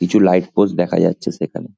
কিছু light post দেখা যাচ্ছে সেখানে--